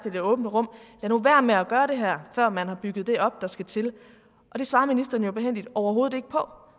i det åbne rum lad nu være med at gøre det her før man har bygget det op der skal til og det svarer ministeren jo behændigt overhovedet ikke på